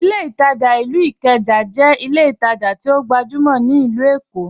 Ìlẹ̀ Itajà ilú Ìkéjà jẹ́ ìlẹ̀ ìtajà tí ọ gbajumọ̀ ni Ilù Èkó.